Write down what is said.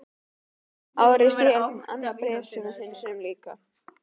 Ári síðar kom annað bréf sem við hunsuðum líka.